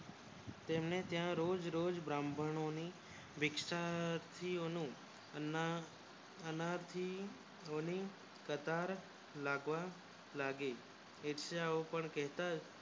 તેમને ત્યાં રોજ રોજ બ્રાહ્મણો ની દીક્ષા થી તેનું અનાજ આનાથી રોળી કતાર લાગવા લાગી ભિક્ષા ઓ પણ કહેતા